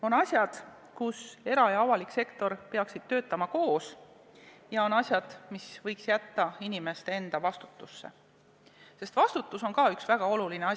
On asjad, kus era- ja avalik sektor peaksid töötama koos, ja on asjad, mis võiks jätta inimeste enda vastutada, sest vastutus on ka üks väga oluline asi.